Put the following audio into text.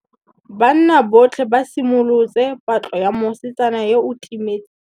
Banna botlhê ba simolotse patlô ya mosetsana yo o timetseng.